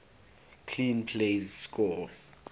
clean plays score